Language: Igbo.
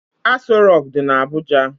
Aso Rock dị na Abuja.